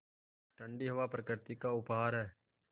ठण्डी हवा प्रकृति का उपहार है